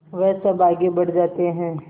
वह सब आगे बढ़ जाते हैं